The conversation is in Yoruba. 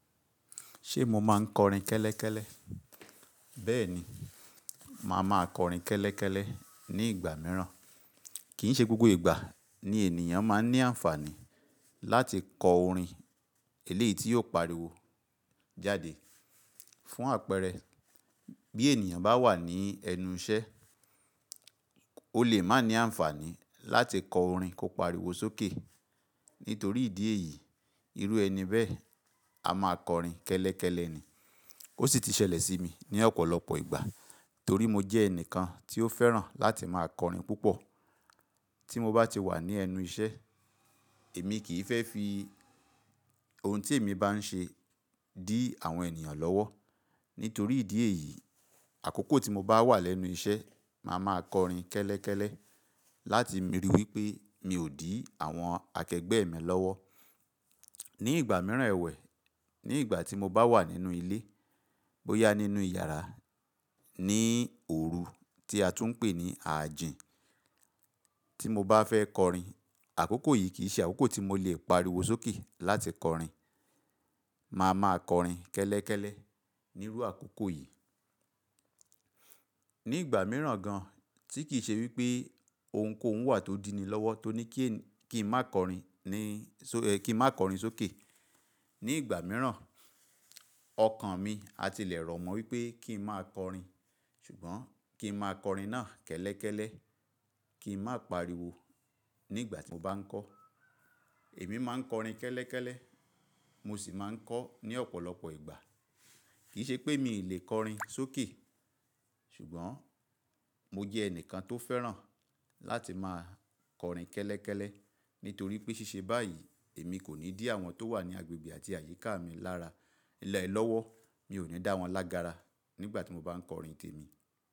Ṣé mo máa ń kọrin kẹ́lẹ́kẹ́lẹ́? Bẹ́ẹ̀ni, màá máa kọrin kẹ́lẹ́kẹ́lẹ́ ní ìgbà mìíràn. Kìí ṣe gbogbo ìgbà ni ènìyàn máa ń ní àǹfààní láti kọ orin eléyìí tí yóò pariwo jáde. Fún àpẹẹrẹ, bí ènìyàn bá wà ní ẹnu iṣẹ́, ó lè má ní àǹfààní láti kọ orin kó pariwo sókè. Nítorí ìdí èyí, irú ẹni bẹ́ẹ̀ a máa kọrin kẹ́lẹ́kẹ́lẹ́ ni. Ó sì ti ṣẹlẹ̀ sí mi ní ọ̀pọ̀lọpọ̀ ìgbà torí mo jẹ́ ẹnìkan tí ó fẹ́ràn láti máa kọrin púpọ̀. Tí mo bá ti wà ní ẹnu iṣẹ́, èmi kì í fẹ́ fi oun tí èmi bá ń ṣe dí àwọn ènìyàn lọ́wọ́. Nítorí ìdí èyí, àkókò tí mo bá wà lẹ́nu iṣẹ́, màá máa kọrin kẹ́lẹ́kẹ́lẹ́ láti ríi wí pé mi ò dí àwọn akẹgbẹ́ mi lọ́wọ́. Ní ìgbà mìíràn ẹwẹ̀, ní ìgbà tí mo bá wà nínú ilé, bóyá nínú ìyàrá ní òru tí a tún ń pè ní àjín. Tí mo bá fẹ́ kọrin, àkókò yìí kì í ṣe àkókò tí mo lè pariwo sókè láti kọrin. Màá máa kọrin kẹ́lẹ́kẹ́lẹ́ nírú àkókò yìí. Ní ìgbà mìíràn gan-an tí kì í ṣe wí pé ohunkóhun wà tó dínni lọ́wọ́, tó ní kí ènìyàn, kí n má kọrin ní, kí n má kọrin sókè. Ní ìgbà mìíràn, ọkàn mi á tilẹ̀ rọ̀ mọ́ wí pé kí n má kọrin ṣùgbọ́n kí n má kọrin náà kẹ́lẹ́kẹ́lẹ́, kí n má pariwo nígbà tí mo bá ń kọ́. Èmi má ń kọrin kẹ́lẹ́kẹ́lẹ́, mo sì máa ń kọ ní ọ̀pọ̀lọpọ̀ ìgbà. Kìí ṣe pé mi ò lè kọrin sókè ṣùgbọ́n mo jẹ́ ẹnìkan tó fẹ́ràn láti máa kọrin kẹ́lẹ́kẹ́lẹ́. Nítorí pé ṣíṣe báyìí, èmi kò ní dí àwọn tó wà ní agbègbè àti àyíká mi lára nílẹ̀ lọ́wọ́. Mi ò ní dá wọn lágbára nígbà tí mo bá ń kọrin témi.